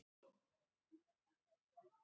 Búinn að taka hamskiptum allt í einu.